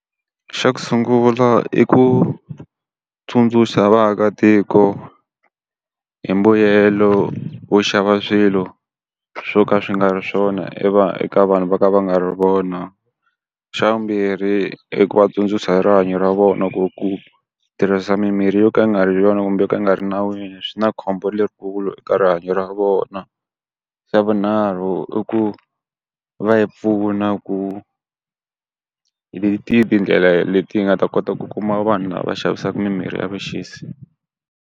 Xa ku sungula i ku tsundzuxa vaakatiko hi mbuyelo wo xava swilo swo ka swi nga ri swona eka vanhu va ka va nga ri vona. Xa vumbirhi i ku va tsundzuxa hi rihanyo ra vona ku ri ku tirhisa mimirhi yo ka yi nga ri yona kumbe ku nga ri nawini swi na khombo lerikulu eka rihanyo ra vona. Xa vunharhu i ku va hi pfuna ku hi tihi tindlela leti hi nga ta kota ku kuma vanhu lava xavisaka mimirhi ya vuxisi.